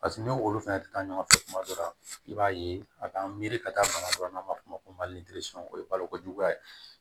Paseke n'olu fɛnɛ tɛ taa ɲɔgɔn fɛ kuma dɔ la i b'a ye a bɛ an miiri ka taa bana dɔ n'an b'a f'o ma ko mali o ye balokojuguya ye